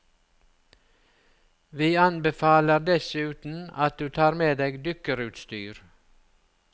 Vi anbefaler dessuten at du tar med deg dykkerutstyr.